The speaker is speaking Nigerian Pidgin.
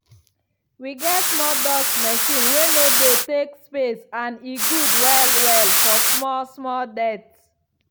we get small dust machine wey no de take space and e good well well for small-small dirt.